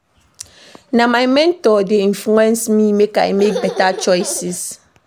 Na my mentor dey influence me make I make beta choices.